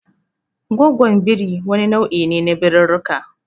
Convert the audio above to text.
Goggwon birii wani nau'i ne na birirrika.